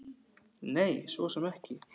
Nei, svo sem ekki.